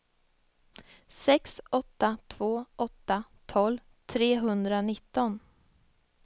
sex åtta två åtta tolv trehundranitton